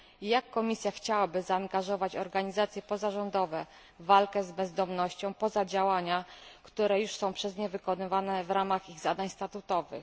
Jak Komisja chciałaby zaangażować organizacje pozarządowe w walkę z bezdomnością oprócz działań, które już są przez nie wykonywane w ramach ich zadań statutowych?